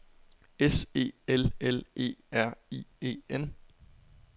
S E L L E R I E N